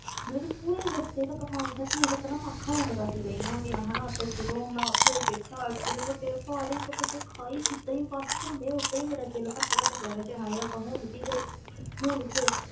ਮਤਲਬ ਕਿ ਪੂਰੇ ਰਸਤੇ ਤੱਕ ਮਾਨਸਾ ਝੀਲ ਤੱਕ ਨਾ ਮੈਂ ਅੱਖਾਂ ਬੰਦ ਕਰਦੀ ਗਈ ਹੈਗੀ ਹਾਂ, ਹਨਾ ਤੇ ਜਦੋਂ ਮੈਂ ਉੱਥੇ ਇਹ ਦੇਖਿਆ ਇੱਡੇ ਵੱਡੇ ਪਹਾੜ, ਇੱਕ ਪਾਸੇ ਖਾਈ, ਜਿੱਦਾਂ ਹੀ ਬਸ ਘੁੰਮੇ ਓਦਾਂ ਹੀ ਮੇਰਾ ਦਿਲ ਘੱਟ ਘੱਟ ਜਾਵੇ ਕਿ ਹਾਏ ਆਪਾਂ ਹੁਣ ਵੀ ਗਏ ਹੁਣ ਵੀ ਗਏ